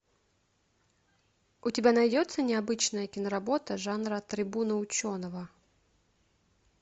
у тебя найдется необычная киноработа жанра трибуна ученого